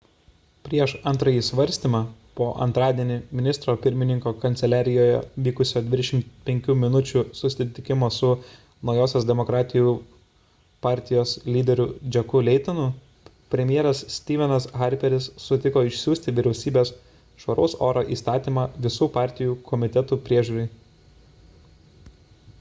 prieš antrąjį svarstymą po antradienį ministro pirmininko kanceliarijoje vykusio 25 minučių susitikimo su naujosios demokratų partijos lyderiu jacku laytonu premjeras stephenas harperis sutiko išsiųsti vyriausybės švaraus oro įstatymą visų partijų komitetui peržiūrai